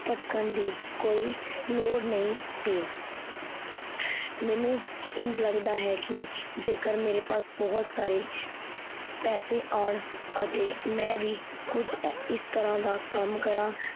ਭਟਕਣ ਦੀ ਕੋਈ ਲੋੜ ਨਹੀਂ ਸੀ। ਮੈਨੂੰ ਇੰਝ ਲੱਗਦਾ ਹੈ ਕੀ ਜੇਕੇਰ ਮੇਰੇ ਪਾਸ ਬਹੁਤ ਸਾਰੇ ਪੈਸੇ ਆਣ ਅਤੇ ਮੈ ਵੀ ਕੁਝ ਇਸ ਤਰਾਂ ਦਾ ਕਮ ਕਰਾਂ